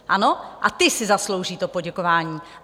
Ano, a ti si zaslouží to poděkování.